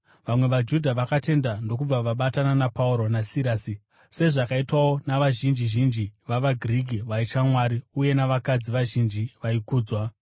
Vamwe vaJudha vakatenda ndokubva vabatana naPauro naSirasi, sezvakaitwawo navazhinji zhinji vavaGiriki vaitya Mwari uye navakadzi vazhinji vaikudzwa.